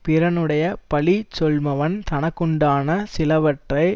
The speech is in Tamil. பிறனுடைய பழி சொல்லுமவன் தனக்குண்டான சிலவற்றை